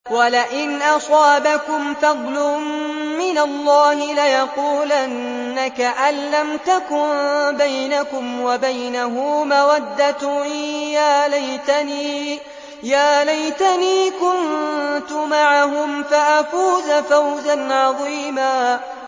وَلَئِنْ أَصَابَكُمْ فَضْلٌ مِّنَ اللَّهِ لَيَقُولَنَّ كَأَن لَّمْ تَكُن بَيْنَكُمْ وَبَيْنَهُ مَوَدَّةٌ يَا لَيْتَنِي كُنتُ مَعَهُمْ فَأَفُوزَ فَوْزًا عَظِيمًا